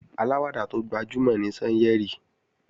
Aláwàdà tó gbajúmò ni Sányẹ̀rì